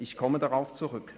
Ich komme darauf zurück.